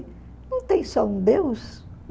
Não tem só um Deus